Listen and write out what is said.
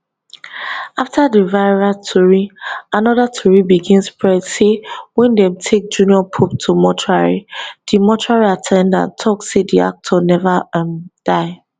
afta di viral tori anoda tori begin spread say wen dem take junior pope to mortuary di mortuary at ten dant tok say di actor neva um die